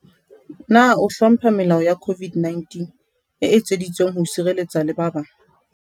Na o hlompha melao ya COVID-19 e etseditsweng ho o sireletsa le ba bang?